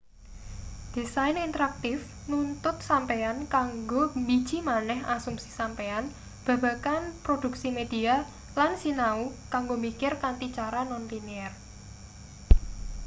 desain interaktif nuntut sampeyan kanggo mbiji maneh asumsi sampeyan babagan produksi media lan sinau kanggo mikir kanthi cara non-linear